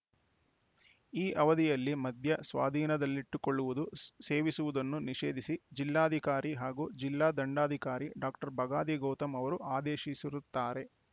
ಈ ಅವಧಿಯಲ್ಲಿ ಮದ್ಯ ಸ್ವಾಧೀನದಲ್ಲಿಟ್ಟುಕೊಳ್ಳುವುದು ಸ್ ಸೇವಿಸುವುದನ್ನು ನಿಷೇಧಿಸಿ ಜಿಲ್ಲಾಧಿಕಾರಿ ಹಾಗೂ ಜಿಲ್ಲಾ ದಂಡಾಧಿಕಾರಿ ಡಾಕ್ಟರ್ ಬಗಾದಿ ಗೌತಮ್‌ ಇವರು ಆದೇಶಿಸಿರುತ್ತಾರೆ